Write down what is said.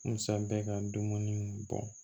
Musa bɛ ka dumuni bɔ